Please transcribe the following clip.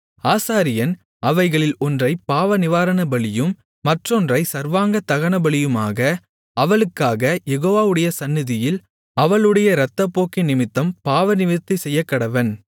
ஆசாரியன் அவைகளில் ஒன்றைப் பாவநிவாரணபலியும் மற்றொன்றைச் சர்வாங்க தகனபலியுமாக அவளுக்காகக் யெகோவாவுடைய சந்நிதியில் அவளுடைய இரத்தப்போக்கினிமித்தம் பாவநிவிர்த்தி செய்யக்கடவன்